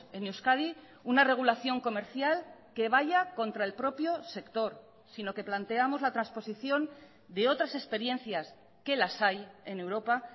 en euskadi una regulación comercial que vaya contra el propio sector sino que planteamos la transposición de otras experiencias que las hay en europa